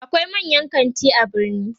akwai manyan kanti a birni